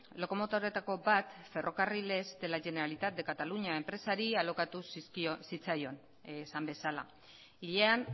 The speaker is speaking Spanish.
lokomotoretako bat ferrocarriles de la generalitat de cataluña enpresari alokatu zitzaion esan bezala hilean